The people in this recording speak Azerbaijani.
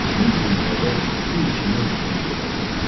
Bir gün dəvə su içmək üçün gölə gəldi.